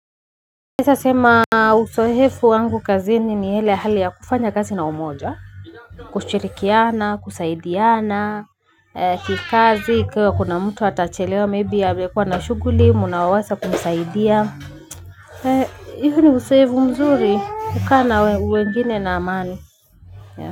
Naweza sema uzoefu wangu kazini ni hie hali ya kufanya kazi na umoja. Kushirikiana, kusaidiana, kikazi, ikiwa kuna mtu atachelewa, maybe amekuwa na shughuli, muna weza kumsaidia. Iyo ni uzoefu mzuri, kukaa na wengine na amani.